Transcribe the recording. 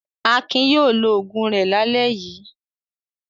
Akin yóò lo òògùn rẹ̀ lálẹ́ yìí.